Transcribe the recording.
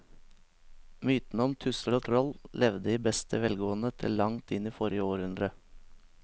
Mytene om tusser og troll levde i beste velgående til langt inn i forrige århundre.